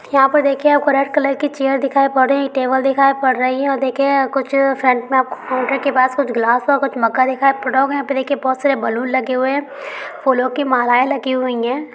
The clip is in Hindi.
यहाँ पर देखिये आपको रेड कलर की चेयर दिखाई पड़ रही है टेबल दिखाई पड़ रही है और देखिये कुछ फ्रंट में आपको काउंटर के पास कुछ ग्लास कुछ मग्गा दिखाई पड़ रहा होगा यहाँ पे देखिये बहुत सारे बैलून लगे हुए है फूलो की मालाये लगी हुई है।